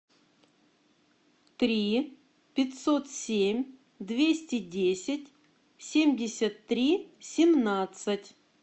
три пятьсот семь двести десять семьдесят три семнадцать